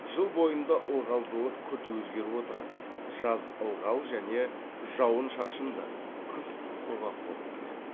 жыл бойында ылғалдылық күрт өзгеріп отырады жаз ылғал және жауын шашынды қыс құрғақ болып келеді